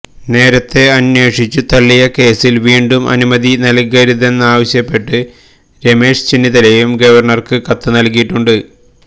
നേരത്തെ അന്വേഷിച്ച് തള്ളിയ കേസിൽ വീണ്ടും അനുമതി നൽകരുതെന്നാവശ്യപ്പെട്ട് രമേശ് ചെന്നിത്തലയും ഗവണർക്ക് കത്ത് നൽകിയിട്ടുണ്ട്